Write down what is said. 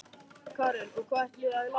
Karen: Og hvað ætlið þið að læra?